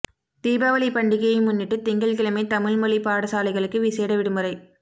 தீபாவளி பண்டிகையை முன்னிட்டு திங்கள் கிழமை தமிழ் மொழி பாடசாலைகளுக்கு விசேட விடுமுறை